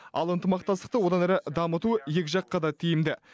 ал ынтымақтастықты одан әрі дамыту екі жаққа да тиімді